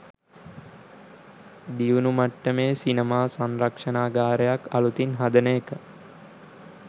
දියුණු මට්ටමේ සිනමා සංරක්ෂණාගාරයක් අලුතින් හදන එක